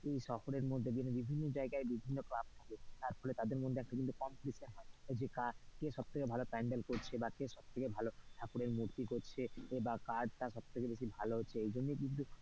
শহরের মধ্যে কিন্তু বিভিন্ন জায়গায় বিভিন্ন থাকে তাদের মধ্যে কিন্তু competition হয়, যে কার কে সব থেকে প্যান্ডেল করছে বা কে সবথেকে ঠাকুরের মূর্তি করছে এ বা কার টা সব থেকে বেশি ভালো হচ্ছে এইজন্যই কিন্তু,